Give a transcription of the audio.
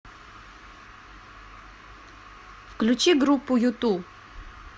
включи группу юту